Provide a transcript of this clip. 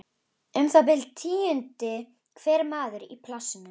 Um það bil tíundi hver maður í plássinu.